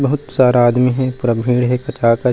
बहुत सारा आदमी हे पूरा भीड़ हे कच्चा-कच--